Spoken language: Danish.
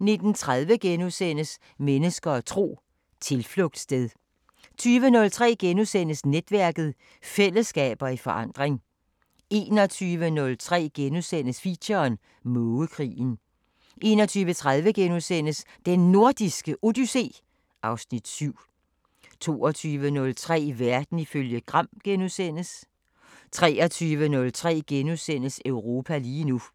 19:30: Mennesker og tro: Tilflugtssted * 20:03: Netværket: Fællesskaber i forandring * 21:03: Feature: Mågekrigen * 21:30: Den Nordiske Odyssé (Afs. 7)* 22:03: Verden ifølge Gram * 23:03: Europa lige nu *